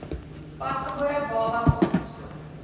pasgebore babas opgespoor